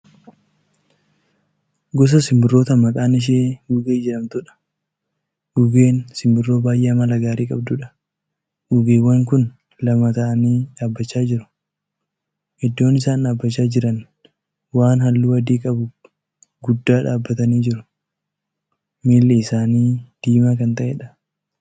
Gosa sinbirroota maqaan ishee gugee jedhamtuudha. gugeen simbirroo baay'ee Amala gaarii qabduudha. gugeewwan Kuni lama ta'anii dhaabachaa jiru. iddoon isaan dhaabachaa Jiran waan halluu adii qabu guddaa dhaabatanii jiru. miilli isaanii diimaa Kan ta'eedha.